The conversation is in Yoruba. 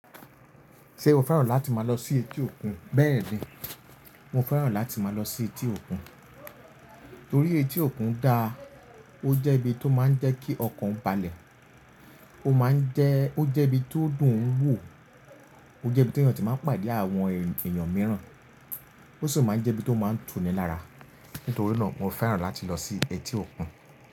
Ṣé o fẹ́ràn láti máa lọ sí etí òkun? Bẹ́ẹ̀ ni, mo fẹ́ràn láti máa lọ sí etí òkun. Torí etí òkun dáa, ó jẹ́ ibi tó máa ń jẹ́ kí ọkàn balẹ̀. Ó máa ń jẹ́, ó jẹ́ ibi tó dùn ún wò. Ó jẹ́ ibi tí èèyàn ti máa ń pàdé àwọn èèyàn mìíràn. Ó sì máa ń jẹ́ ibi tó máa ń tuni lára. Nítorí náà, mo fẹ́ràn láti lọ sí etí òkun.